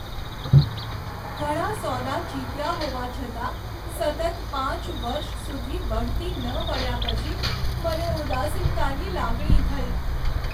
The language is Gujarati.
ઘણા સોદા જીત્યા હોવા છતાં સતત પાંચ વર્ષ સુધી બઢતી ન મળ્યા પછી મને ઉદાસીનતાની લાગણી થઈ.